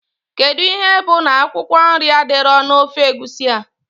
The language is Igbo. Kedụ ihe bụ na akwụkwọ nri adịrọ na ofe Egusi a?